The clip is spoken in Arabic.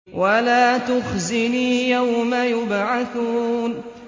وَلَا تُخْزِنِي يَوْمَ يُبْعَثُونَ